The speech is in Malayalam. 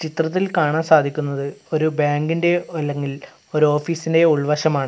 ചിത്രത്തിൽ കാണാൻ സാധിക്കുന്നത് ഒരു ബാങ്കിൻ്റെയോ ഒ അല്ലെങ്കിൽ ഒരു ഓഫീസിൻ്റെയോ ഉൾവശമാണ്.